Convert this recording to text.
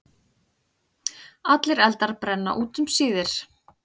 Allir eldar brenna út um síðir.